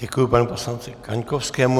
Děkuji panu poslanci Kaňkovskému.